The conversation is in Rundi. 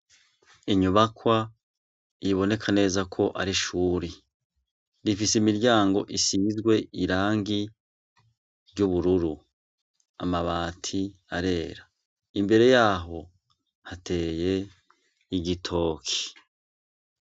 Inyubakwa iboneka neza ko ari ishuri, rifise imiryango isizwe irangi ry'ubururu amabati arera imbere yaho hateye igitoki.